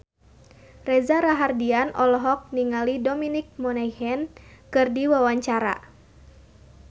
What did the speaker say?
Reza Rahardian olohok ningali Dominic Monaghan keur diwawancara